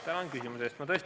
Tänan küsimuse eest!